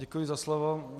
Děkuji za slovo.